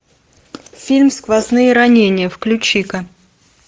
фильм сквозные ранения включи ка